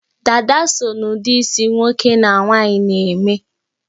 dádá so na ụdị isi nwoke na nwaanyị na-eme